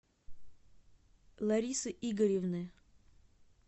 ларисы игоревны